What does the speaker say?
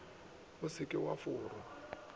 o se ke wa forwa